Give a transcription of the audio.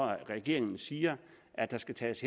regeringen siger at der skal tages